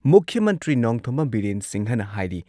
ꯃꯨꯈ꯭ꯌ ꯃꯟꯇ꯭ꯔꯤ ꯅꯣꯡꯊꯣꯝꯕꯝ ꯕꯤꯔꯦꯟ ꯁꯤꯡꯍꯅ ꯍꯥꯏꯔꯤ